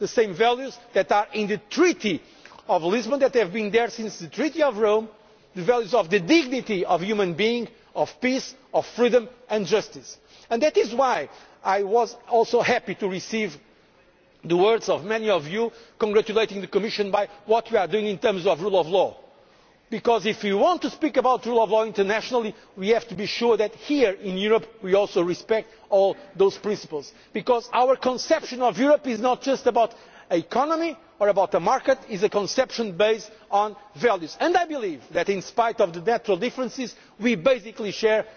in spite of some ideological differences, share the same values. The same values that are in the Treaty of Lisbon, that have been there since the Treaty of Rome, the values of the dignity of human beings, of peace, of freedom and justice. And that is why I was also happy to receive the words of many of you congratulating the Commission for what we are doing in terms of the rule of law. Because if you want to speak about the rule of law internationally, we have to be sure that here in Europe we also respect all those principles, because our conception of Europe is not just about the economy or about the market, it is a conception based on values. And I